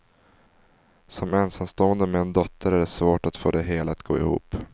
Som ensamstående med en dotter är det svårt att få det hela att gå ihop.